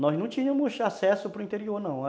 Nós não tínhamos acesso para o interior, não.